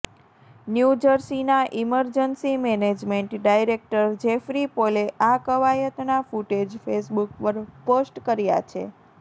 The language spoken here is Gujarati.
ન્યૂ જર્સીના ઈમરજન્સી મેનેજમેન્ટ ડાયરેકટર જેફરી પોલે આ કવાયતના ફૂટેજ ફેસબુક પર પોસ્ટ કર્યા છે